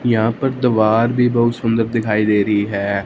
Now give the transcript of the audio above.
यहां पर दवार भी बहुत सुंदर दिखाई दे रही है।